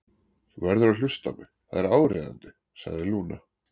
Þú verður að hlusta á mig, það er áríðandi, sagði Lúna.